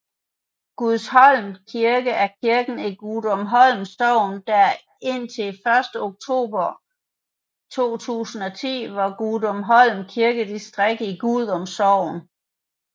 Gudumholm Kirke er kirken i Gudumholm Sogn der indtil 1 oktober 2010 var Gudumholm Kirkedistrikt i Gudum Sogn